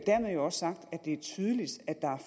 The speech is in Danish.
dermed også sagt at det er tydeligt at der er